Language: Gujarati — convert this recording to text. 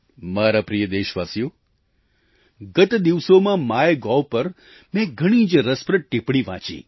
મારા પ્રિય દેશવાસીઓ ગત દિવસોમાં માયગોવ પર મેં એક ઘણી જ રસપ્રદ ટીપ્પણી વાંચી